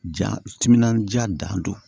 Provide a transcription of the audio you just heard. Ja timinandiya dan don